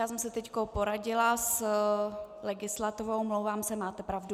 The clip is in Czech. Já jsem se teď poradila s legislativou, omlouvám se, máte pravdu.